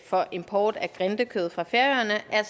for import af grindekød fra færøerne er